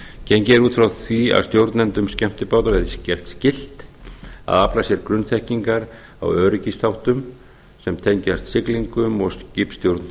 gengið er út frá því að stjórnendum skemmtibáta verði gert skylt að afla sér grunnþekkingar á öryggisþáttum sem tengjast siglingum og skipstjórn